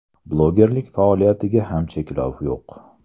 Blogerlik faoliyatiga ham cheklov yo‘q.